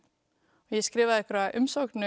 og skrifaði umsókn